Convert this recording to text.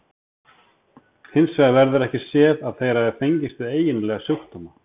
Hins vegar verður ekki séð að þeir hafi fengist við eiginlega sjúkdóma.